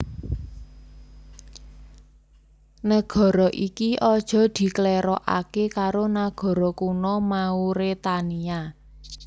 Nagara iki aja diklèrokaké karo nagara kuno Mauretania